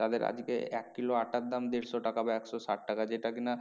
তাদের আজকে এক কিলো আটার দাম দেড়শো টাকা বা একশো ষাট টাকা যেটা কি না